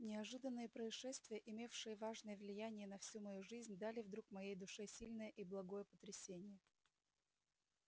неожиданные происшествия имевшие важное влияние на всю мою жизнь дали вдруг моей душе сильное и благое потрясение